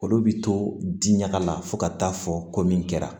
Olu bɛ to di ɲaga la fo ka taa fɔ ko min kɛra